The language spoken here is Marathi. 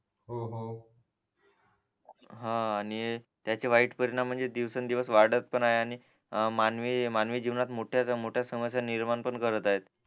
हा आणि त्याचे वाईट परीणाम म्हणजे दिवसंन दिवस वाढत पण आहे आणि मानवी मानवी जीवनात मोठ्या समस्या निर्माण पण करत आहे